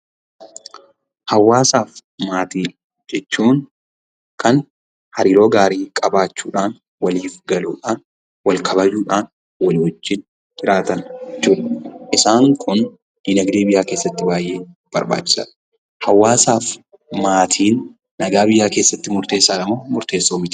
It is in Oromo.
Hawaasa fi maatii jechuun kan hariiroo gaarii qabachuudhaan waliif galuudhaan, wal kabajuudhaan, walii wajiin jiraatan jechuudha. Isaan kun dinagdee biyyaa keessatti baay'ee barbachisaadha. Hawaasa fi maatiin nagaa biyyaa keessatti murtessadha moo murtessaa miti?